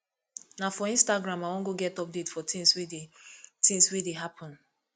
na for instagram i wan go get update for tins wey dey tins wey dey happen